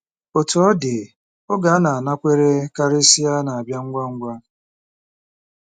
Otú ọ dị, oge a na-anakwere karịsịa, na-abịa ngwa ngwa.